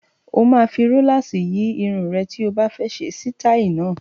O máa fi róláàsì yí irun rẹ tí o bá fẹ́ ṣe sítáì náà.